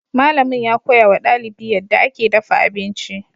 Malamin ya koya wa dalibi yadda ake dafa abinci.